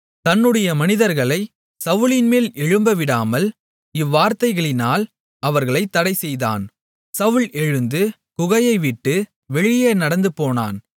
தன்னுடைய மனிதர்களை சவுலின்மேல் எழும்ப விடாமல் இவ்வார்த்தைகளினால் அவர்களைத் தடை செய்தான் சவுல் எழுந்து குகையைவிட்டு வழியே நடந்து போனான்